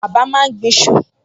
Bàbá máa ń gbin iṣu